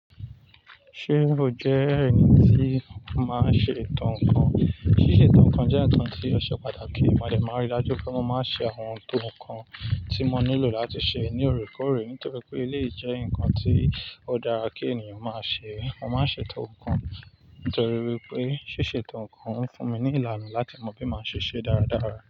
Ṣé o jẹ́ ẹni tí ó máa ń ṣe ìtàn nkan? Ṣíṣe ìtàn nkan jẹ́ ǹkan tí ó ṣe pàtàkì. Ma dẹ̀ máa rí i dájú pé mo máa ń ṣe àwọn eto nǹkan tí mo nílò láti ṣe ní òrékọ́òrẹ́. Nítorí pé eléèyi jẹ́ ǹkan tí ó dára kí ènìyàn máa ṣe. Mo máa ń ṣe eto nkan nítorí wí pé ṣíṣe eto nkan ń fún mi ní ìlànà láti mọ bí màá ṣe ṣe dáradára.